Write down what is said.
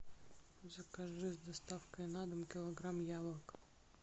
закажи с доставкой на дом килограмм яблок